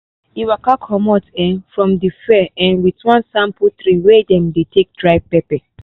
e waka comot um from the fair um with one sample tray wey dem dey take dry pepper